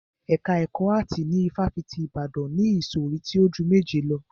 Ẹ̀ka ẹkọ áàtì ní ifáfitì Ibadan ni ìsọ̀rí tí o ju méje lọ.